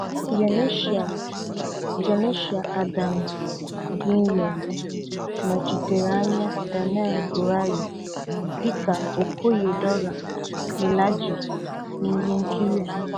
Janeshia Janeshia Adams-Ginyard nọchitere anya Danai Gurari dịka okoye Dora Milaje na ihe nkiri a.